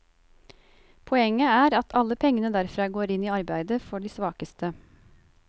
Poenget er at alle pengene derfra går inn i arbeidet for de svakeste.